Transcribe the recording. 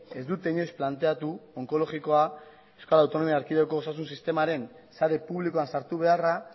ez dute inoiz planteatu onkologikoa euskal autonomia erkidegoko osasun sistemaren sare publikoan sartu beharra